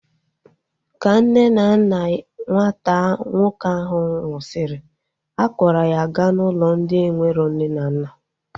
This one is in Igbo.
Ka nne na nna nwata nwoke ahu nwụsịrị, a kpọrọ ya gaa n'ụlọ ndị enwero nne na nna